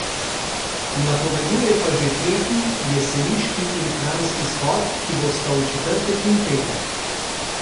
Napoveduje pa že tretji jeseniški in kranjski shod, ki bosta v četrtek in petek.